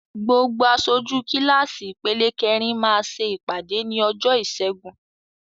Gbogbo aṣojú kíláàsì ìpele kẹrin máa ṣe ìpàdé ní ọjọ́ ìṣẹ́gun.